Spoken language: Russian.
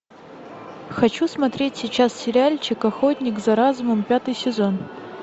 хочу смотреть сейчас сериальчик охотник за разумом пятый сезон